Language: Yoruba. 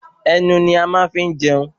Ẹnu ni a máa ń fi ń jẹun